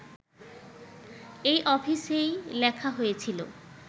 এই অফিসেই লেখা হয়েছিলো